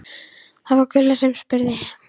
Það var Gulla sem spurði.